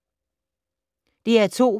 DR2